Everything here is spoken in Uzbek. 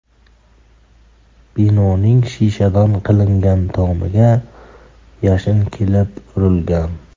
Binoning shishadan qilingan tomiga yashin kelib urilgan.